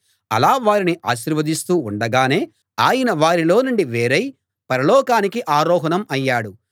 అలా వారిని ఆశీర్వదిస్తూ ఉండగానే ఆయన వారిలో నుండి వేరై పరలోకానికి ఆరోహణం అయ్యాడు